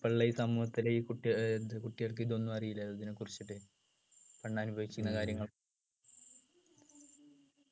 ഇപ്പൊ ഉള്ള ഈ സമൂഹത്തിൽ ഈ കുട്ടി ഏർ കുട്ടികൾക്ക് ഇതൊന്നും അറീല ഇതിനെക്കുറിച്ചിട്ടു പണ്ട് അനുഭവിക്കുന്ന കാര്യങ്ങളും